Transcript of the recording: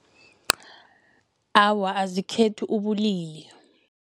Awa, azikhethi ubulili.